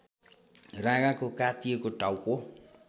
राँगाको काटिएको टाउको